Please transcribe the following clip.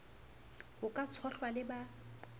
ho ka tshohlwa le ba